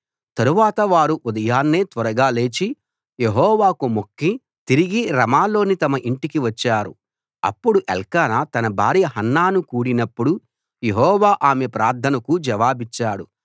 తరువాత వారు ఉదయాన్నే త్వరగా లేచి యెహోవాకు మొక్కి తిరిగి రమాలోని తమ ఇంటికి వచ్చారు అప్పుడు ఎల్కానా తన భార్య హన్నాను కూడినప్పుడు యెహోవా ఆమె ప్రార్థనకు జవాబిచ్చాడు